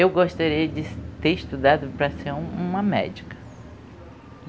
Eu gostaria de ter estudado para ser um uma médica.